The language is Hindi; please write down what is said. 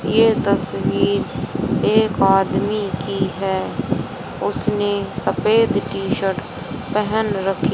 ये तस्वीर एक आदमी की है उसने सफ़ेद टी शर्ट पहन रखी--